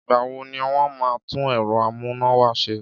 Ìgbà wo ni wọn máa tún ẹ̀rọ amúnáwá ṣe?